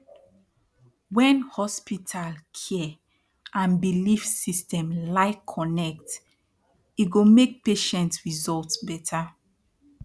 wen hospital cia and belief system like connect e go make patient result beta